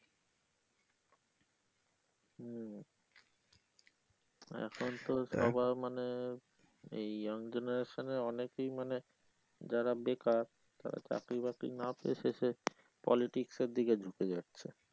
হম এখন তো চাকরি পাওয়া মানে এই young generation এর অনেকেই মানে যারা বেকার তারা চাকরি বাকরি না পেয়ে শেষে politics দিকে ঝুকে যায়।